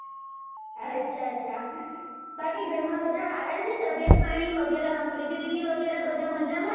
અચ્છા અચ્છા બાકી ઘર માં બધા સારા છે તબિયત પાણી વગેરા પ્રીતિ દીદી વગેરા બધા મજામાં?